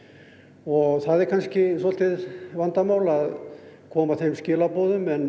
og það er kannski svolítið vandamál að koma þeim skilaboðum en